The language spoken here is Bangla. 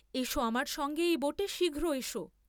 এস আমার সঙ্গে এই বোটে শীঘ্র এস।